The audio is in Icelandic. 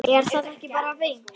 Er það ekki bara fínt?